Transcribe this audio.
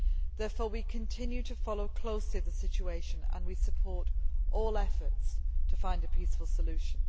Therefore, we continue to follow the situation closely and we support all efforts to find a peaceful solution.